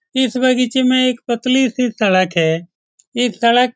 इस बगीचे में एक पतली सी सड़क है इस सड़क --